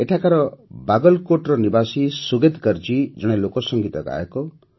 ଏଠାକାର ବାଗଲକୋଟ୍ର ନିବାସୀ ସୁଗେତ୍ କରଜୀ ଜଣେ ଲୋକସଂଗୀତଗାୟକ